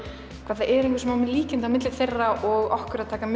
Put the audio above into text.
hvað það eru mikil líkindi milli þeirra og okkur að taka